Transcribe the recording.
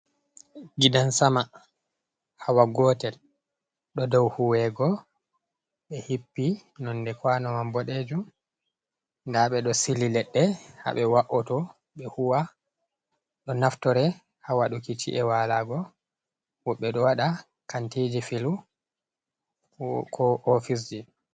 Gidan sama, hawa gotel, ɗo dow huwego ɓe hippi nonde kwanowa boɗejum nda ɓeɗo sili leɗɗe ha ɓe wa'oto ɓe huwa ɗo naftore ha waɗuki chi’e walago, woɓɓe ɗo waɗa kantiji filu ko ko oficji.